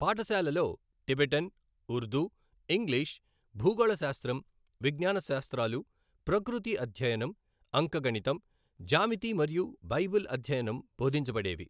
పాఠశాలలో Tibetan, Urdu, English, భూగోళశాస్త్రం, విజ్ఞానశాస్త్రాలు, ప్రకృతి అధ్యయనం, అంకగణితం, జ్యామితి మరియు బైబిల్ అధ్యయనం బోధించబడేవి.